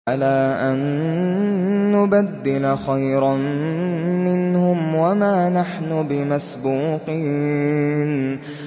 عَلَىٰ أَن نُّبَدِّلَ خَيْرًا مِّنْهُمْ وَمَا نَحْنُ بِمَسْبُوقِينَ